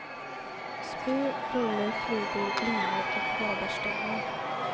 Spö, rulle, flugor, linor och vadarstövlar.